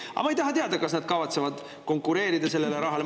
Aga ma ei taha teada, kas nad kavatsevad konkureerida sellele rahale.